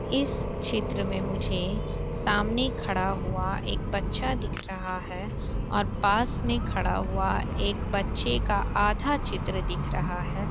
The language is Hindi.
इस चित्र में मुझे सामने खड़ा हुआ एक बच्चा दिख रहा है। और पास में खड़ा एक बच्चे का आधा चित्र दिख रहा है।